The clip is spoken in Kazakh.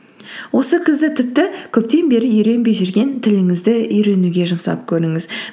осы күзді тіпті көптен бері үйренбей жүрген тіліңізді үйренуге жұмсап көріңіз